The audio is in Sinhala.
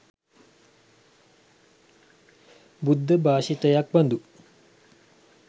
බුද්ධ භාෂිතයක් බඳු